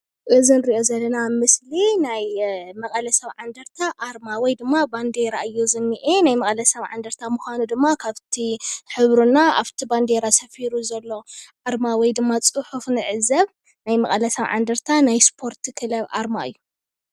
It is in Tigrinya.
እዚ ንሪኦ ዘለና ምስሊ ናይ መቀለ ሰብዓ እንደርታ ኣርማ ወይ ድማ ባንዴራ እዩ ዝኒአ። ናይ መቀለ ሰብዓእንደርታ ምኳኑ ድማ ካብቲ ሕብሩ እና ኣብቲ ባንዴራ ሰፊሩ ዘሎ ኣርማ ወይ ድማ ፅሑፍ ንዕዘብ። ናይ መቀለ ሰብዓ እንደርታ ናይ ስፖርት ክለብ ኣርማ እዩ ።